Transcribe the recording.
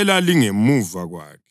elalingemuva kwakhe.